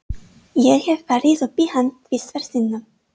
Ég hef farið upp í hann tvisvar sinnum.